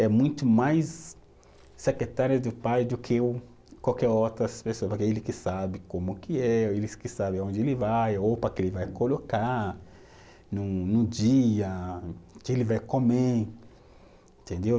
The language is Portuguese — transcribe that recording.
É muito mais secretária do pai do que o, qualquer outra pessoa, porque é ele que sabe como que é, eles que sabem aonde ele vai, a roupa que ele vai colocar no no dia, o que ele vai comer, entendeu?